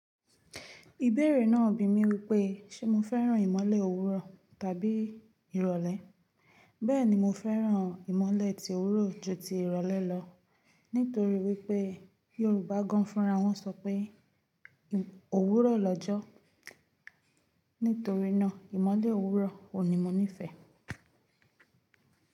Ìbéèrè náà bi mí wípé, ṣe mo fẹ́ràn ìmọ́lẹ̀ òwúrọ̀ tàbí ìrọ̀lẹ́. Bẹ́ẹ̀ni, mo fẹ́ràn ìmọ́lẹ̀ ti òwúrọ̀ ju ti ìrọ̀lẹ́ lọ, nítorí wípé Yorùbá gan-an fúnra wọn sọ pé "Òwúrọ̀ lọ́jọ́". Nítorí náà, ìmọ́lẹ̀ òwúrọ̀ o ni mo nífẹ̀ẹ́.